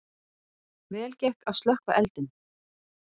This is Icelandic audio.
Vel gekk að slökkva eldinn